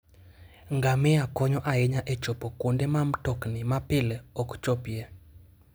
Ngamia konyo ahinya e chopo kuonde ma mtokni mapile ok chopie.